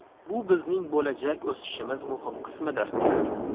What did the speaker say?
Bu bizning bo‘lajak o‘sishimiz muhim qismidir.